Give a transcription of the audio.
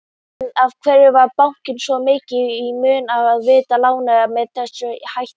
En af hverju var bankanum svona mikið í mun að veita lánin með þessum hætti?